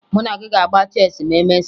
Mụ na gị ga-agba cheesị ma emesịa